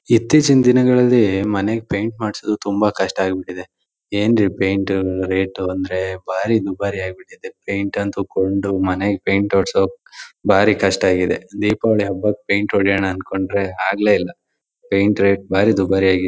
ಇತ್ತೀಚ್ಚಿನ ದಿನಗಳಲ್ಲಿ ಮನೆಗ್ ಪೇಯಿಂಟ್ ಮಾಡ್ಸೋದು ತುಂಬಾ ಕಷ್ಟ ಆಗ್ಬಿಟ್ಟಿದ್ದೆ ಏನ್ರಿ ಪೇಯಿಂಟ್ ರೇಟ್ ಅಂದ್ರೆ ಬಾರಿ ದುಬಾರಿ ಆಗ್ಬಿಟ್ಟಿದ್ದೆ ಪೇಯಿಂಟ್ ಅಂತೂ ಕೊಂಡು ಮನೆಗ್ ಪೇಯಿಂಟ್ ಹೊಡ್ಸೋಕ್ ಬಾರಿ ಕಷ್ಟ ಆಗಿದೆ ದೀಪಾವಳಿ ಹಬ್ಬಕ್ ಪೇಯಿಂಟ್ ಹೊಡಿಯೋಣ ಅನ್ಕೊಂಡ್ರೆ ಆಗ್ಲೇ ಇಲ್ಲ ಪೇಂಟ್ ರೇಟ್ ಬಾರಿ ದುಬಾರಿ ಆಗಿದೆ.